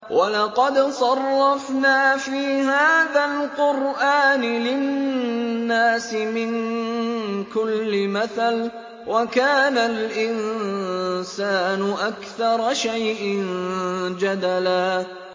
وَلَقَدْ صَرَّفْنَا فِي هَٰذَا الْقُرْآنِ لِلنَّاسِ مِن كُلِّ مَثَلٍ ۚ وَكَانَ الْإِنسَانُ أَكْثَرَ شَيْءٍ جَدَلًا